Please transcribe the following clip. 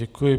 Děkuji.